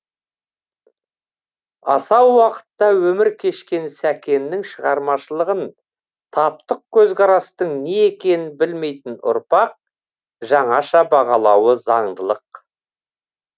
асау уақытта өмір кешкен сәкеннің шығармашылығын таптық көзқарастың не екенін білмейтін ұрпақ жаңаша бағалауы заңдылық